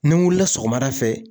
Ni n wulila sɔgɔmada fɛ